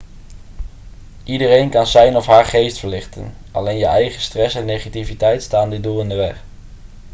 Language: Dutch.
iedereen kan zijn of haar geest verlichten alleen je eigen stress en negativiteit staan dit doel in de weg